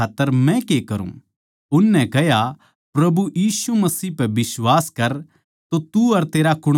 उननै कह्या प्रभु यीशु मसीह पै बिश्वास कर तो तू अर तेरा कुण्बा उद्धार पावैगा